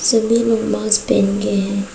सभी लोग मास्क पहन के हैं।